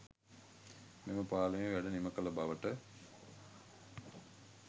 මෙම පාලමේ වැඩ නිමකළ බවට